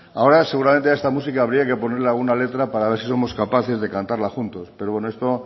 ahora seguramente a esta música habría que ponerle alguna letra para ver si somos capaces de cantarla juntos pero bueno esto